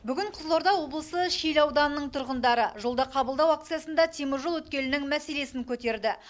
бүгін қызылорда облысы шиелі ауданының тұрғындары жолда қабылдау акциясында теміржол өткелінің мәселесін көтерді